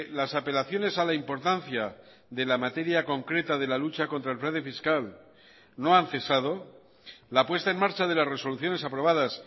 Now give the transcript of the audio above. las apelaciones a la importancia de la materia concreta de la lucha contra el fraude fiscal no han cesado la puesta en marcha de las resoluciones aprobadas